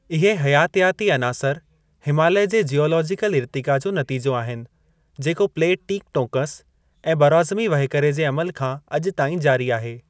इहे हयातियाती अनासर हिमालय जे ज्यूलोजीकल इर्तिक़ा जो नतीजो आहिनि, जेको प्लेट टीकटोंकस ऐं बरॉज़मी वहिकरे जे अमलु खां अॼु ताईं जारी आहे।